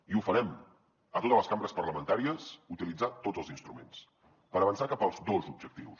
i ho farem a totes les cambres parlamentàries utilitzant tots els instruments per avançar cap als dos objectius